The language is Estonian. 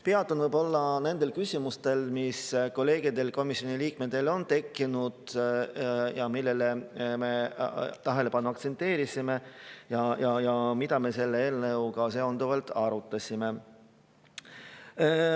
Peatun võib-olla nendel küsimustel, mis kolleegidel, komisjoni liikmetel on tekkinud ja millele me tähelepanu aktsenteerisime ja mida me selle eelnõuga seonduvalt arutasime.